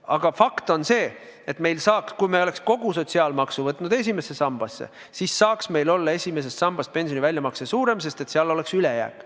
Aga fakt on see, et kui me oleks kogu sotsiaalmaksu suunanud esimesse sambasse, siis võiks meil olla esimesest sambast pensioni väljamakse suurem, sest seal oleks ülejääk.